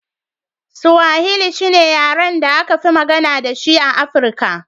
Swahili shi ne yaren da aka fi magana da shi a Afirka.